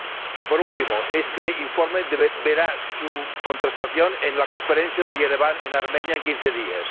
Y, por último, este informe verá su contrastación en la Conferencia de Ereván, en Armenia, en quince días.